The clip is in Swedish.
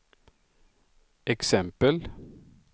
exempel